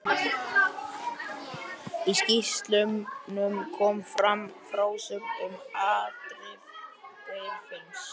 Í skýrslunum kom fram frásögn um afdrif Geirfinns.